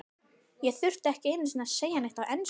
Ég þurfti ekki einu sinni að segja neitt á ensku.